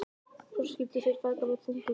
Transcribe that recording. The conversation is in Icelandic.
Og svo skildu þeir feðgar með þungu geði.